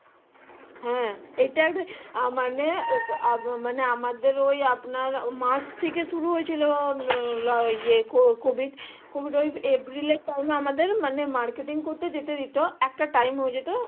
হ্যাঁ ইটা মানে মানে আমাদের ওই আপনার মার্চ থেকে শুরু হয়েছিল এ COVID এপ্রিল এর time এ আমাদের marketing করতে যেতে দিতো একটা time হয়ে যেত